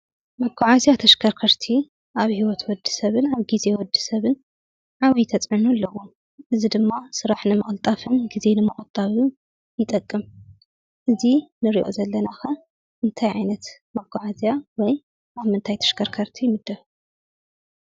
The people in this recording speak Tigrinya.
መጓዓዝያ ተሽከርከርቲ አብ ሂወት ወድሰብን ግዘ ወድ ሰብን ዓብይ ተፅዕኖ አለዎ። እዚ ድማ ስሪሕ ንምቅልጣፍን ግዘ ንምቁጣብን ይጠቅም። እዚ ንሪኦ ዘለና ከ እንታይ ዓይነት መጓዓዝያ ወይ አብ ምንታይ ተሽከርከርቲ ይምደብ?